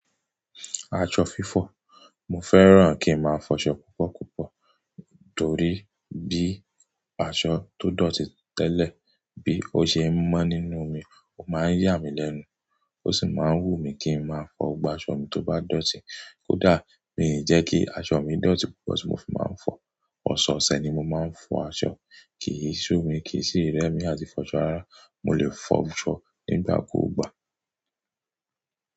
Aṣọ fífọ̀, mo fẹ́ràn kí n máa fọṣọ púpọ̀púpọ̀ torí bí aṣọ tó dọ̀tí tẹ́lẹ̀ bí ó ṣe ń mọ́ nínú mi, ó máa ń yà mí lẹ́nu, ó sì máa ń wù mí kí ń máa fọ gbogbo aṣọ mi tó bá dọ̀tí. Kódà mi ò jẹ́ kí aṣọ mi dọ̀tí púpọ̀ ṣùgbọ́n mo fi máa ń fọ. Ọ̀sọ̀ọ̀sẹ̀ ni mo máa ń fọ aṣọ, kì í ṣú mi, kì í ṣì rẹ mí àti fọṣọ rara. Mo lè fọ aṣọ nígbà ku gba.